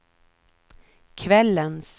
kvällens